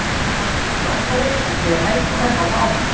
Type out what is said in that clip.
Þeir hafa verið frábærir fyrir félagið og verða það áfram.